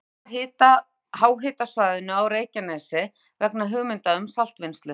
Rannsóknir á háhitasvæðinu á Reykjanesi vegna hugmynda um saltvinnslu.